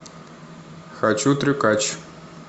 хочу трюкач